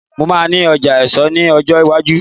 mo ma ní ọjà èso ní ọjọ iwaju